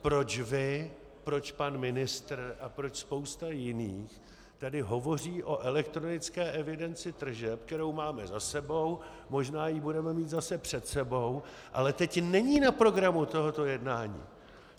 Proč vy, proč pan ministr a proč spousta jiných tady hovoří o elektronické evidenci tržeb, kterou máme za sebou, možná ji budeme mít zase před sebou, ale teď není na programu tohoto jednání.